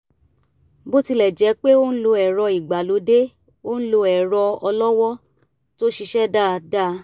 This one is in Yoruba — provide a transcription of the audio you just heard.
bó tilẹ̀ jẹ́ pé ó ń lo ẹ̀rọ ìgbàlódé ó ń lo ẹ̀rọ ọlọ́wọ́ tó ṣiṣẹ́ dáadáa